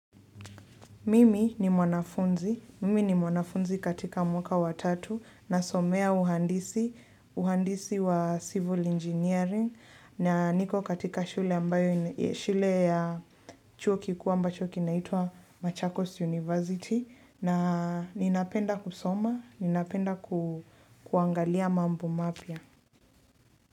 Mimi ni mwanafunzi, mimi ni mwanafunzi katika mwaka wa tatu na somea uhandisi, uhandisi wa civil engineering na niko katika shule ambayo shule ya chuo kukuu ambacho kinaitwa Machakos University na ninapenda kusoma, ninapenda ku kuangalia mambo mapya.